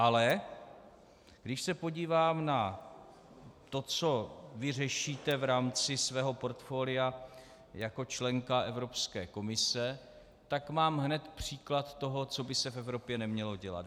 Ale když se podívám na to, co vy řešíte v rámci svého portfolia jako členka Evropské komise, tak mám hned příklad toho, co by se v Evropě nemělo dělat.